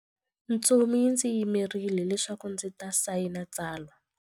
Ntsumi yi ndzi yimerile leswaku ndzi ta sayina tsalwa.